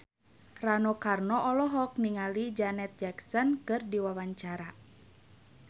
Rano Karno olohok ningali Janet Jackson keur diwawancara